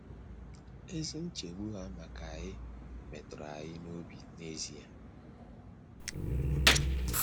Ezi nchegbu ha maka anyị metụrụ anyị n’obi n’ezie.